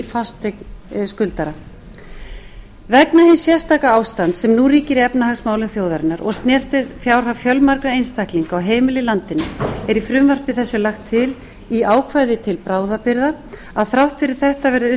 fasteign skuldara vegna hins sérstaka ástands sem nú ríkir í efnahagsmálum þjóðarinnar og snertir fjárhag fjölmargra einstaklinga og heimila í landinu er í frumvarpi þessu lagt til í ákvæði til bráðabirgða að þrátt fyrir þetta verði